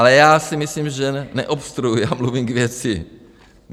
Ale já si myslím, že neobstruuji, já mluvím k věci.